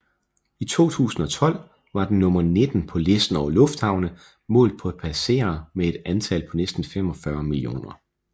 I 2012 var den nummer nitten på listen over lufthavne målt på passagerer med et antal på næsten 45 millioner